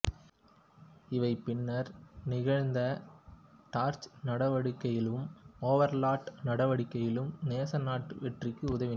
இவை பின்னர் நிகழ்ந்த டார்ச் நடவடிக்கையிலும் ஓவர்லார்ட் நடவடிக்கையிலும் நேச நாட்டு வெற்றிக்கு உதவின